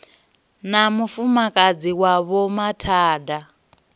na mufumakadzi wa vho mathada